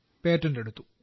patent എടുത്തു